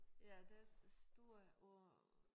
Ja de er store og